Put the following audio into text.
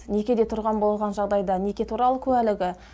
некеде тұрған болған жағдайда неке туралы куәлігі